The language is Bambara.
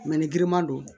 ni giriman don